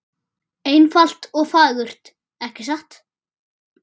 Einfalt og fagurt, ekki satt?